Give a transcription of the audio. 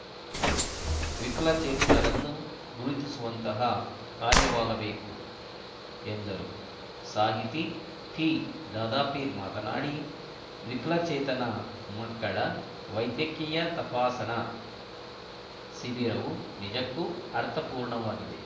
ವಿಕಲಚೇತನರನ್ನು ಗುರುತಿಸುವಂತಹ ಕಾರ್ಯವಾಗಬೇಕು ಎಂದರು ಸಾಹಿತಿ ಟಿದಾದಾಪೀರ್‌ ಮಾತನಾಡಿ ವಿಕಲಚೇತನ ಮಕ್ಕಳ ವೈದ್ಯಕೀಯ ತಪಾಸಣಾ ಶಿಬಿರವು ನಿಜಕ್ಕೂ ಅರ್ಥಪೂರ್ಣವಾಗಿದೆ